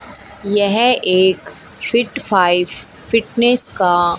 यह एक fit five fitness का--